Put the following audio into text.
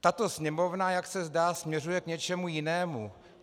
Tato Sněmovna, jak se zdá, směřuje k něčemu jinému.